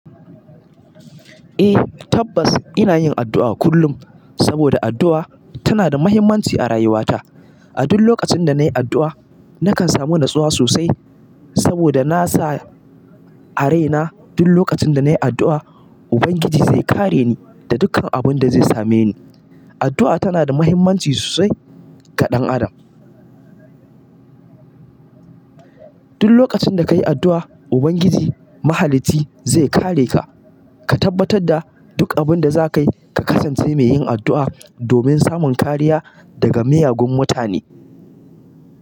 Eh tabbas ina yin addu'a kullum saboda addu'a tana da muhimmanci a rayuwata. A duk lokacin da na yi addu'a, nakan samu natsuwa sosai saboda na sa a raina duk lokacin da na yi addu'a, Ubangiji zai kare ni da dukkan abin da zai same ni. Addu'a tana da muhimmanci sosai ga ɗan adam. Duk lokacin da ka yi addu'a, Ubangiji mahalicci zai kare ka. Ka tabbatar da duk abin da za ka yi, ka kasance mai yin addu'a domin samun kariya daga miyagun mutane.